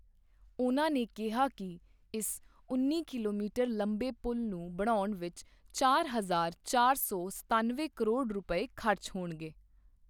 ਉਨ੍ਹਾਂ ਨੇ ਕਿਹਾ ਕਿ ਇਸ ਉੱਨੀ ਕਿਲੋਮੀਟਰ ਲੰਬੇ ਪੁੱਲ਼ ਨੂੰ ਬਣਾਉਣ ਵਿੱਚ ਚਾਰ ਹਜਾਰ ਚਾਰ ਸੌ ਸਤਾਨਵੇਂ ਕਰੋੜ ਰੁਪਏ ਖਰਚ ਹੋਣਗੇ।